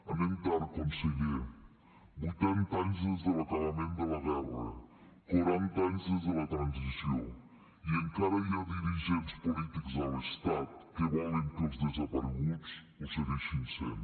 anem tard conseller vuitanta anys des de l’acabament de la guerra quaranta anys des de la transició i encara hi ha dirigents polítics a l’estat que volen que els desapareguts ho segueixin sent